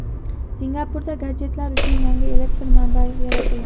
Singapurda gadjetlar uchun yangi elektr manbasi yaratildi.